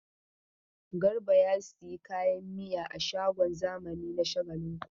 Garba ya sayi kayan miya a shagon zamani na Shagalinku.